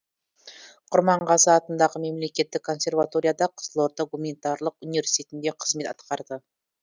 құрманғазы атындағы мемлекеттік консерваторияда қызылорда гуманитарлық университетінде қызмет атқарды